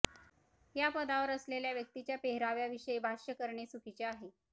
या पदावर असलेल्या व्यक्तीच्या पेहराव्या विषयी भाष्य करणे चुकीचे आहे